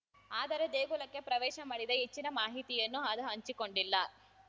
ಆದರೆ ದೇಗುಲಕ್ಕೆ ಪ್ರವೇಶ ಮಾಡಿದ ಹೆಚ್ಚಿನ ಮಾಹಿತಿಯನ್ನು ಅದು ಹಂಚಿಕೊಂಡಿಲ್ಲ